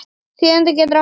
Þýðandi getur átt við